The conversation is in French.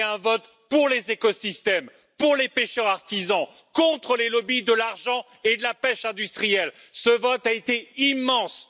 C'était un vote pour les écosystèmes, pour les pêcheurs artisans, contre les lobbies de l'argent et de la pêche industrielle, et ce vote a été extrêmement important!